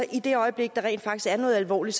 i det øjeblik der rent faktisk er noget alvorligt